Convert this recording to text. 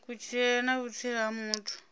kutshilele na vhutsila ha muthu